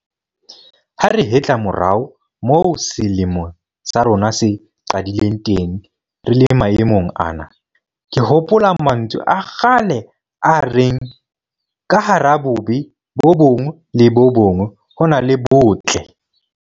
Ha re hetla morao moo selemo sa rona se qadileng teng re le maemong ana, ke hopola mantswe a kgale a reng 'ka hara bobe bo bong le bo bong ho na le botle'.